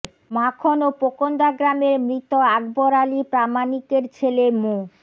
মাখন ও পোকন্দা গ্রামের মৃত আকবর আলী প্রামাণিকের ছেলে মো